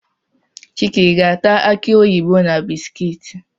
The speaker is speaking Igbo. Chike ị ga-ata akị oyibo na bisikiiti?